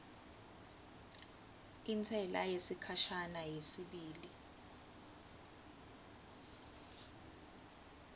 intsela yesikhashana yesibili